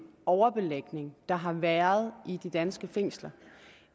overbelægning der har været i de danske fængsler